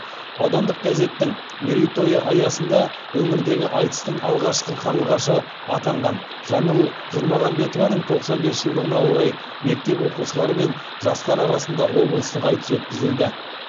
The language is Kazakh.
аудандық газеттің мерейтойы аясында өңірдегі айтыстың алғашқы қарлығашы атанған жаңыл жұрмағамбетованың тоқсан бес жылдығына орай мектеп оқушылары мен жастар арасында облыстық айтыс өткізілді